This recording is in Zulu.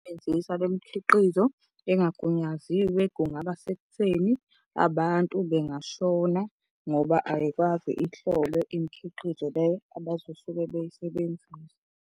Ububi bokusebenziswa bemikhiqizo engagunyaziwe kungabasekutheni abantu bengashona ngoba ayikaze ihlolwe imikhiqizo le abazosuke beyisebenzisa.